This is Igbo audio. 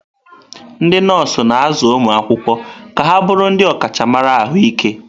Ndị nọọsụ na-azụ ụmụ akwụkwọ ka ha bụrụ ndị ọkachamara ahụike.